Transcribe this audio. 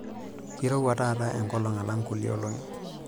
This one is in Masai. Keirowua taata enkolong' alang' kulie olongi.